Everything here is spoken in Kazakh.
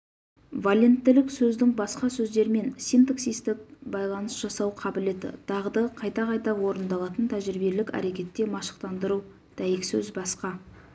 валенттілік сөздің басқа сөздермен синтаксистік байланыс жасау қабілеті дағды қайта-қайта орындалатын тәжірибелік әрекетте машықтандыру дәйексөз басқа